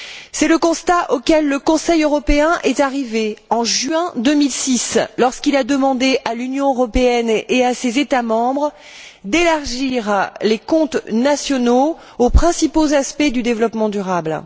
C'est le constat auquel le Conseil européen est arrivé en juin 2006, lorsqu'il a demandé à l'Union européenne et à ses États membres d'élargir les comptes nationaux aux principaux aspects du développement durable.